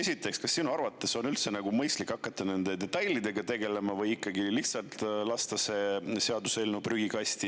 Esiteks, kas sinu arvates on üldse mõistlik hakata nende detailidega tegelema või ikkagi lihtsalt see seaduseelnõu prügikasti?